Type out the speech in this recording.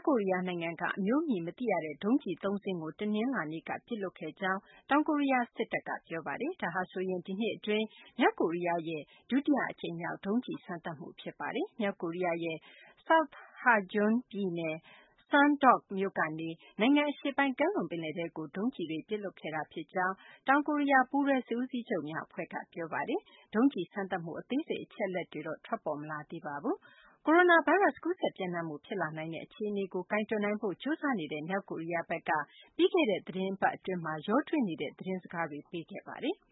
ကိုရီးယားနိုင်ငံက အမျိုးအမည် မသိရတဲ့ ဒုံးကျည်သုံးစင်းကို တနင်္လာနေ့က ပစ်လွှတ်ခဲ့ကြောင်း တောင်ကိုရီးယားစစ်တပ်က ပြောပါတယ်။ ဒါဟာဆိုရင် ဒီနှစ်အတွင်း မြောက်ကိုရီးယားရဲ့ ဒုတိယအကြိမ်မြောက် ဒုံးကျည်စမ်းသပ်မှု ဖြစ်ပါတယ်။ မြောက်ကိုရီးယားရဲ့ South Hamgyong ပြည်နယ် Sondok မြို့ကနေ နိုင်ငံအရှေ့ပိုင်း ကမ်းလွန်ပင်လယ်ထဲကို ဒုံးကျည်တွေ ပစ်လွှတ်ခဲ့တာဖြစ်ကြောင်း တောင်ကိုရီးယား ပူးတွဲစစ်ဦးစီးချုပ်များအဖွဲ့က ပြောပါတယ်။ ဒုံးကျည်စမ်းသပ်မှု အသေးစိတ် အချက်အလက်တွေကတော့ ထွက်ပေါ်မလာသေးပါဘူး။ ကိုရိုနာဗိုင်းရပ်စ် ကူးစက်ပျံ့နှံ့မှု ဖြစ်လာနိုင်တဲ့ အခြေအနေကို ကိုင်တွယ်နိုင်ဖို့ ကြိုးစားနေတဲ့ မြောက်ကိုရီးယားဘက်က ပြီးခဲ့တဲ့ သီတင်းပတ်အတွင်း ရောထွေးနေတဲ့ သတင်းစကားတွေ ပေးခဲ့ပါတယ်။